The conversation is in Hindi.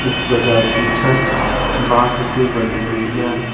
इस बाजार की छत बांस से बनी हुई है।